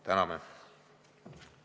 Täname!